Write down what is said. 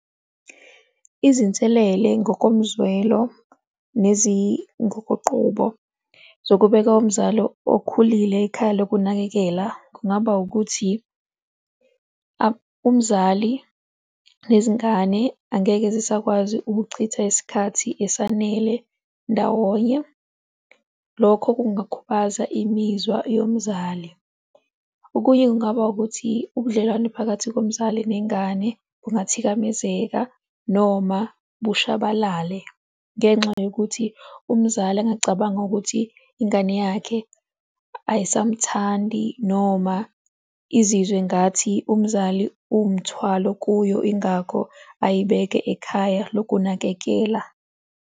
Izinselele ngokomzwelo nezingukuqubo zokubeka umzali okhulile ekhaya lokunakekela kungaba ukuthi, umzali nezingane angeke zisakwazi ukuchitha isikhathi esanele ndawonye, lokho kungakhubaza imizwa yomzali. Okunye kungaba ukuthi ubudlelwane phakathi komzali nengane kungathikamezeka, noma bushabalale ngenxa yokuthi umzali angicabanga ukuthi ingane yakhe ayisamthandi noma izizwe ngathi umzali uwumthwalo kuyo, ingakho ayibeke ekhaya lokunakekela.